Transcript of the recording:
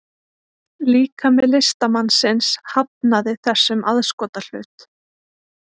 Líkami listamannsins hafnaði þessum aðskotahlut